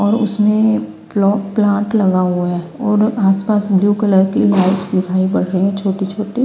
और उसमे प्ला प्लांट लगा हुआ है और आस पास ब्लु कलर की लाइट्स दिखाई पड़ रही है छोटी छोटी।